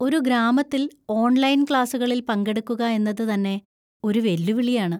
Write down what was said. ഒരു ഗ്രാമത്തിൽ ഓൺലൈൻ ക്ലാസുകളിൽ പങ്കെടുക്കുക എന്നത് തന്നെ ഒരു വെല്ലുവിളിയാണ്.